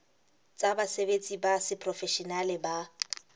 tsa basebetsi ba seprofeshenale ba